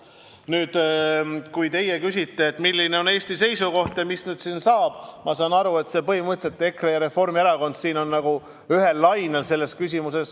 Nüüd, kui teie küsite, milline on Eesti seisukoht ja mis nüüd saab, siis ma saan aru, et põhimõtteliselt EKRE ja Reformierakond on selles küsimuses nagu ühel lainel.